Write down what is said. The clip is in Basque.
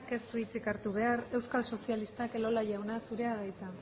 ez du hitzik hartu behar euskal sozialistak elola jauna zurea da hitza